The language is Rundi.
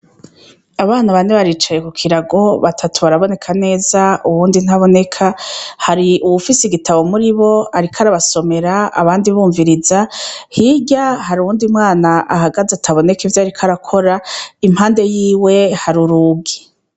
Abana bane baricaye ku kirago batatu baraboneka neza uwundi ntaboneka hari uwufise igitabo muri bo, ariko arabasomera abandi bumviriza hirya hari uwundi mwana ahagaze ataboneka ivyo, ariko arakora impande yiwe hari urugi.